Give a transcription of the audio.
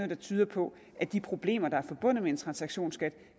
der tyder på at de problemer der er forbundet med en transaktionsskat